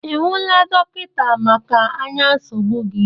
Ị hụla dọkịta maka anya nsogbụ gị?